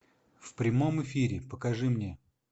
в прямом эфире покажи мне